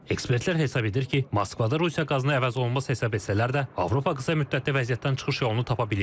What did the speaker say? Ekspertlər hesab edir ki, Moskva da Rusiya qazını əvəz olunmaz hesab etsələr də, Avropa qısa müddətdə vəziyyətdən çıxış yolunu tapa bilib.